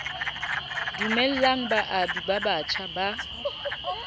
dumellang baabi ba batjha ba